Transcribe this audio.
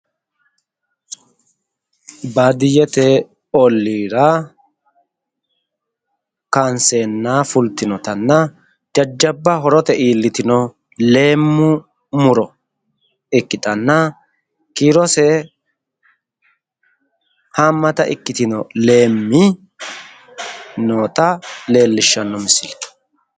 Baadiyyete ollira kaanseenna fultinotanna jajjabba horote iillitino leemmu muro ikkitanna kiirose haammata ikkitino leemmi noota leellishshanno misileeti.